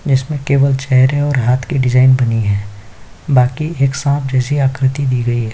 इसमें केवल चेहरे और हाथ की डिजाइन बनी हुई है बाकी एक सांप जैसे आकृति दी गई है।